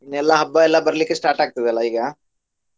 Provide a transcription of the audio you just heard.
ಇನ್ ಎಲ್ಲ ಹಬ್ಬ ಎಲ್ಲ ಬರ್ಲಿಕ್ಕೆ start ಆಗ್ತದಲ್ಲ ಈಗ.